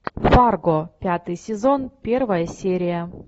фарго пятый сезон первая серия